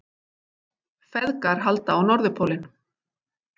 Feðgar halda á Norðurpólinn